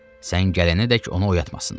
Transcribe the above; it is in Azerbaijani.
Sən gələnədək onu oyatmasınlar.